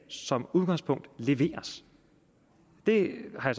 som udgangspunkt leveres det har